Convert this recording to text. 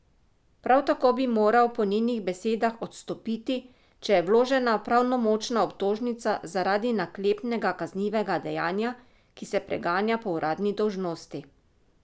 Prav tako bi moral po njenih besedah odstopiti, če je vložena pravnomočna obtožnica zaradi naklepnega kaznivega dejanja, ki se preganja po uradni dolžnosti.